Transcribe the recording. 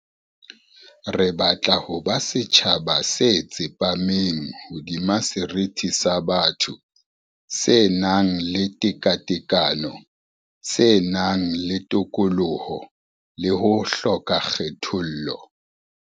Re batla ho ba setjhaba se tsepameng hodima seriti sa botho, se nang le tekatekano, se nang le tokoloho le ho hloka kgethollo.